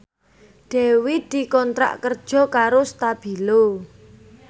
Dewi dikontrak kerja karo Stabilo